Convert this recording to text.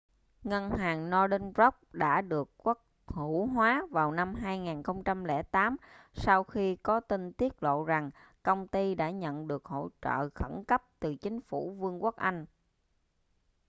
ngân hàng northern rock đã được quốc hữu hóa vào năm 2008 sau khi có tin tiết lộ rằng công ty đã nhận được hỗ trợ khẩn cấp từ chính phủ vương quốc anh